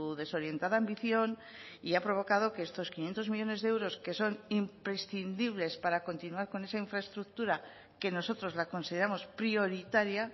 desorientada ambición y ha provocado que estos quinientos millónes de euros que son imprescindibles para continuar con esa infraestructura que nosotros la consideramos prioritaria